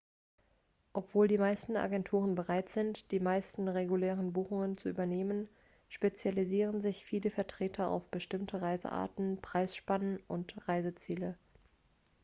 obwohl die meisten agenturen bereit sind die meisten regulären buchungen zu übernehmen spezialisieren sich viele vertreter auf bestimmte reisearten preisspannen oder reiseziele